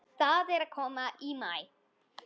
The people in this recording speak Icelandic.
Það er að koma maí.